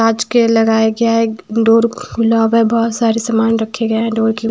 आज के लगाया गया है डोर गुलाब है बहुत सारे सामान रखे हुए हैं डोर के--